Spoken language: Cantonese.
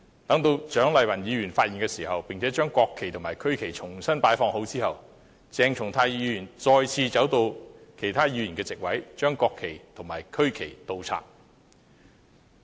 當蔣麗芸議員發現並把國旗和區旗重新擺放後，鄭松泰議員再次走到其他議員的座位，把國旗和區旗倒插。